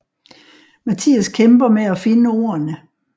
Mathias kæmper med at finde ordene